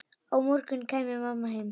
Á morgun kæmi mamma heim.